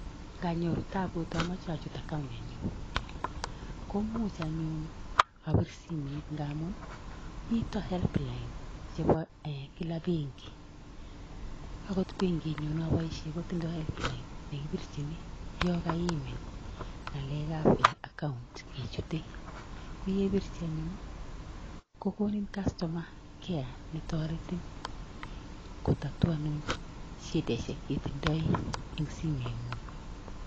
Indonyuur taabut amoche achut akaon nenyun ko much anyun abir simet ngamun, mitten help line chebo benkit agetugul. Akot benkinyun neoboishien kotinye help line nekibirchini yon kaimin ngalekab account ichute. Koyeibirchii anyun ko kokonii kastoma kea netoretiin kotatuanun shidaisiek chetindoi en simengung.